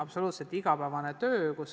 See on täiesti igapäevane töö.